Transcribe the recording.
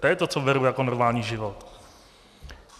To je to, co beru jako normální život.